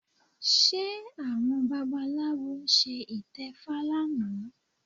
Ṣé àwọn babaláwo ṣe ìtẹfa lánàá?